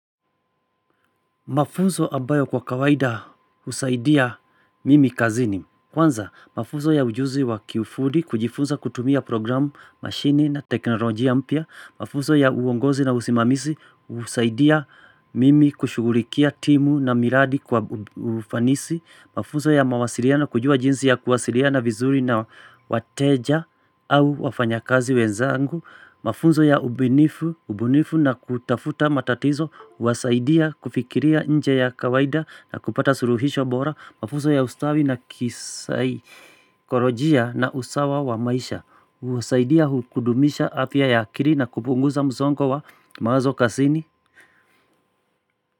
Mafuzo ambayo kwa kawaida husaidia mimi kazini. Kwanza, mafuzo ya ujuzi wa kiufudi, kujifunza kutumia programu, mashini na teknolojia mpya. Mafuzo ya uongozi na usimamizi, husaidia mimi kushugulikia timu na miradi kwa ufanisi. Mafuzo ya mawasiliano, kujua jinsi ya kuwasiliana vizuri na wateja au wafanya kazi wenzangu. Mafunzo ya ubunifu na kutafuta matatizo wasaidia kufikiria nje ya kawaida na kupata suruhisho bora mafunzo ya ustawi na kisaikorojia na usawa wa maisha husaidia hukudumisha afya ya akili na kupunguza mzongo wa mawazo kazini.